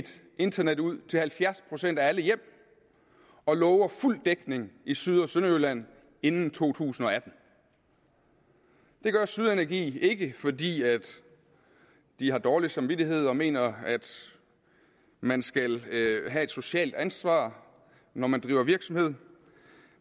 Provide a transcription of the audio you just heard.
internet ud til halvfjerds procent af alle hjem og lover fuld dækning i syd og sønderjylland inden to tusind og atten det gør syd energi ikke fordi de har dårlig samvittighed og mener at man skal tage et socialt ansvar når man driver virksomhed